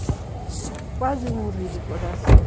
Eu quase morri do coração.